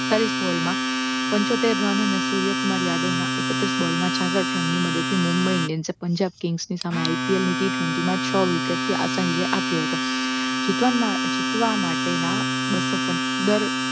પીસ્તાલીશ ball માં પંચોતેર run અને સૂર્યકુમાર યાદવના એક્ત્રીશ બોલમાં છાસઠ રનની મદદથી મુંબઇ ઇન્ડિયન્સને પંજાબ કિંગ્સ સામે IPL ની T twenty માં છ વિકેટથી આસાન વિજય આપ્યો હતો જીતવા માટેના બસો પન્ચ્યાવન દર